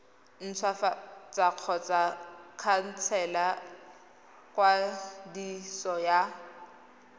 ntshwafatsa kgotsa khansela kwadiso ya